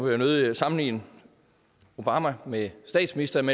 jeg nødig sammenligne obama med statsministeren